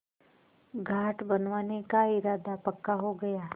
घाट बनवाने का इरादा पक्का हो गया